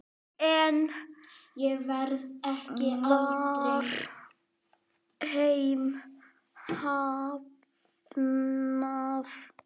Enn var þeim hafnað.